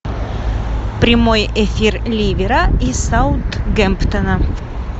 прямой эфир ливера и саутгемптона